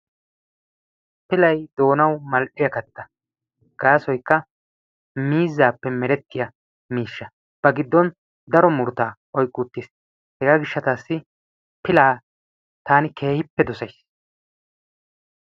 Pilay doonawu mal'iya katta. Gaassoykka miizzaappe merettiya miishsha. Ba giddon daro murutaa oyqqi uttiis. Hegaa gishshataassi pilaa taani keehippe dosayssi.